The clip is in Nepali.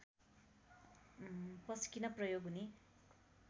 पस्किन प्रयोग हुने